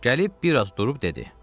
Gəlib bir az durub dedi: